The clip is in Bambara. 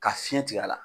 Ka fiɲɛ tigɛ a la